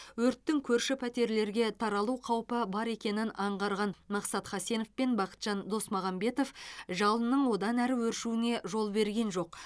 өрттің көрші пәтерлерге таралу қаупі бар екенін аңғарған мақсат хасенов пен бақытжан досмағамбетов жалынның одан әрі өршуіне жол берген жоқ